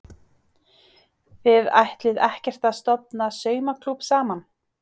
Þið ætlið ekkert að stofna saumaklúbb saman?